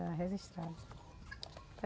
Era registrada.